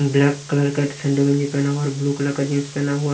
Black colour पहना हुआ है और ब्लू कलर जीन्स पहना हुआ है.